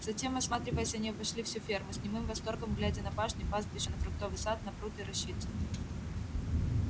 затем осматриваясь они обошли всю ферму с немым восторгом глядя на пашни пастбища на фруктовый сад на пруд и рощицу